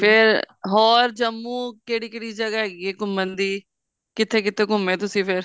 ਤੇ ਫੇਰ ਉਹ ਜੰਮੂ ਕਿਹੜੀ ਕਿਹੜੀ ਜਗ੍ਹਾ ਹੈਗੀ ਐ ਘੁੰਮਣ ਦੀ ਕਿੱਥੇ ਕਿੱਥੇ ਘੁੰਮੇ ਤੁਸੀਂ ਫੇਰ